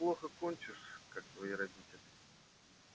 ты так же плохо кончишь как твои родители